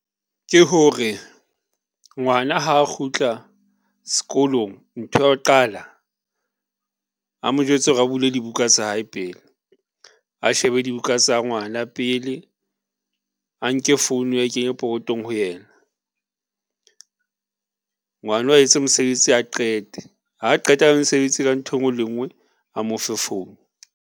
Ke hore ngwana ha a kgutla s'kolong, ntho ya ho qala a mo jwetse hore a bule dibuka tsa hae pele a shebe dibuka tsa ngwana pele, a nke phone a e kenye pokotong ho yena ngwano a etse mosebetsi a qete. Ha a qeta ka mosebetsi ka ntho ngwe le e nngwe a mo fe phone.